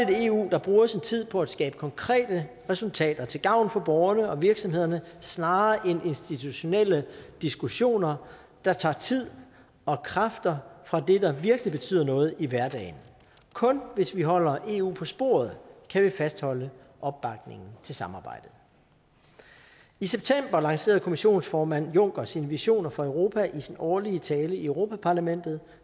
et eu der bruger sin tid på at skabe konkrete resultater til gavn for borgerne og virksomhederne snarere end institutionelle diskussioner der tager tid og kræfter fra det der virkelig betyder noget i hverdagen kun hvis vi holder eu på sporet kan vi fastholde opbakningen til samarbejde i september lancerede kommisionsformand juncker sine visioner for europa i sin årlige tale i europa parlamentet